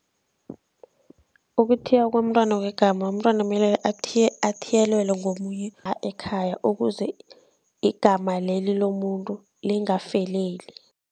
Ukuthiywa komntwana kwegama, umntwana mele athiyelelwe ngomunye ekhaya ukuze igama leli lomuntu lingafeleli.